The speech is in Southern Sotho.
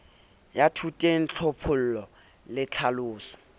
wa thoteng tlhophollo le tlhaloso